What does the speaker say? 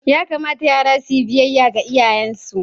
Ya kamata yara su yi biyayya ga iyayensu.